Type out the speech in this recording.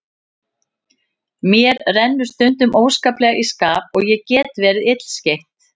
Mér rennur stundum óskaplega í skap og ég get verið illskeytt.